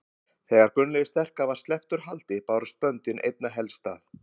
Þegar Gunnlaugi sterka var sleppt úr haldi bárust böndin einna helst að